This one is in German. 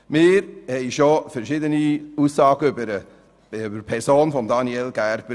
Wir haben schon verschiedene Aussagen über seine Person gehört.